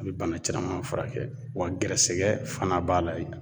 A be bana caman furakɛ wa gɛrɛsɛgɛ fana b'a la ye